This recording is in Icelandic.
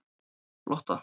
Lotta